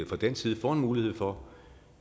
fra dansk side får mulighed for